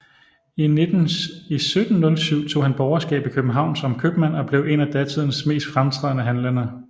I 1707 tog han borgerskab i København som købmand og blev en af datidens mest fremtrædende handlende